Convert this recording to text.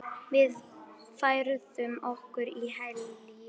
Við færðum okkur í hléi.